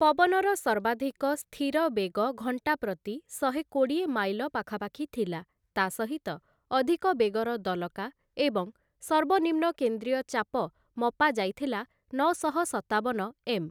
ପବନର ସର୍ବାଧିକ ସ୍ଥିର ବେଗ ଘଣ୍ଟାପ୍ରତି ଶହେକୋଡ଼ିଏ ମାଇଲ ପାଖାପାଖି ଥିଲା, ତା' ସହିତ ଅଧିକ ବେଗର ଦଲକା, ଏବଂ ସର୍ବନିମ୍ନ କେନ୍ଦ୍ରୀୟ ଚାପ ମପାଯାଇଥିଲା ନଅଶହ ସତାବନ ଏମ୍‌ ।